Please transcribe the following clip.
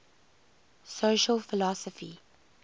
social philosophy